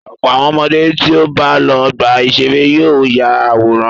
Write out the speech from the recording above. Ọ̀pọ̀ àwọn ọmọdé tí ó bá lọ ọgbà-ìṣeré yóò ya àwòrán.